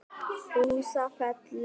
Húsafelli